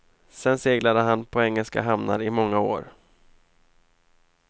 Sen seglade han på engelska hamnar i många år.